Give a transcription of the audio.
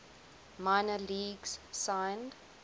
minor leagues signed